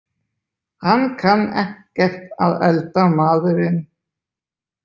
Hann kann ekkert að elda maðurinn.